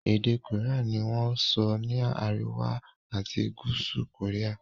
èdè Korean ní wón sọ ni àríwá ati gúúsù Korea.